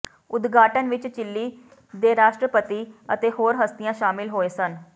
ਉਦਘਾਟਨ ਵਿੱਚ ਚਿਲੀ ਦੇ ਰਾਸ਼ਟਰਪਤੀ ਅਤੇ ਹੋਰ ਹਸਤੀਆਂ ਸ਼ਾਮਲ ਹੋਏ ਸਨ